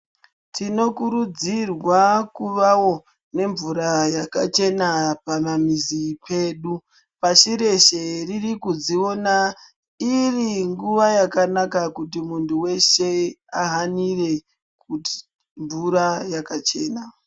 Tinokurudzirwa kuvawo nemvura yakachena pamamizi pedu. Pashi reshe riri kudziona iri nguwa yakanaka kuti muntu weshe ahanire kuti mvura yakachena.